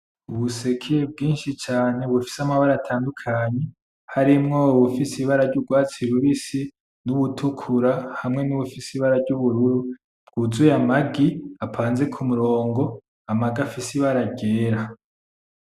Ubuseke bwinshi cane bufise amabara atandukanye harimwo ubufise ibara ryurwatsi rubisi, nubutukura hamwe nubufise ibara ryubururu bwuzuye amagi apanze kumurongo, amagi afise ibara ryera.